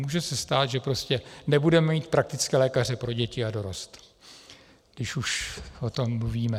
Může se stát, že prostě nebudeme mít praktické lékaře pro děti a dorost, když už o tom mluvíme.